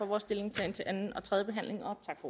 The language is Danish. vores stillingtagen til anden og tredje behandling